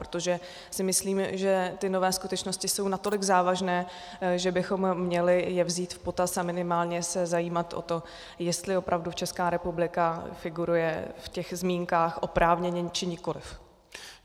Protože si myslím, že ty nové skutečnosti jsou natolik závažné, že bychom je měli vzít v potaz a minimálně se zajímat o to, jestli opravdu Česká republika figuruje v těch zmínkách oprávněně, či nikoliv.